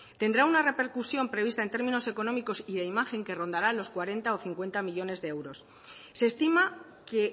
tendrá una repercusión prevista en términos económicos y de imagen que rondará los cuarenta o cincuenta millónes de euros se estima que